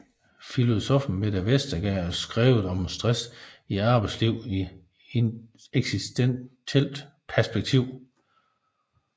Filosoffen Mette Vesterager skrevet om stress i arbejdslivet i eksistentielt perspektiv